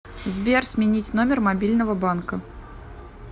сбер сменить номер мобильного банка